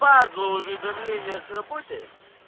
падла уведомления с работы